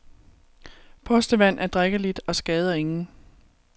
Postevand er drikkeligt og skader ingen.